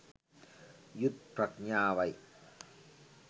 යුත් ප්‍රඥාවයි.